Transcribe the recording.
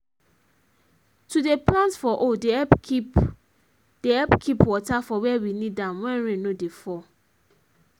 to dey plant for hole dey help keep dey help keep water for where we need am when rain no dey fall